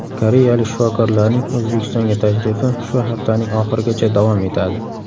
Koreyalik shifokorlarning O‘zbekistonga tashrifi shu haftaning oxirigacha davom etadi.